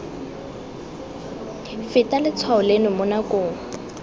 feta letshwao leno mo nakong